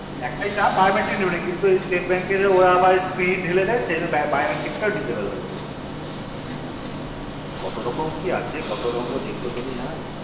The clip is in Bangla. হা একটাই চাপ যে ওরা biometric টা নেবে না কিন্তু ওই stete bank ওরা spring ঢেলে দেয় সেই জন্য biometric টা ও disable হয়ে যাই কত রকম কি আছে দেখবো আর কত রঙ্গ দেখবো দুনিয়াই